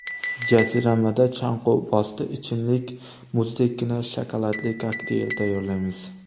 Jaziramada chanqovbosdi ichimlik muzdekkina shokoladli kokteyl tayyorlaymiz!.